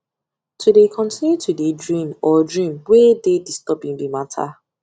to dey continue to dey dream or dream wey dey disturbing be matter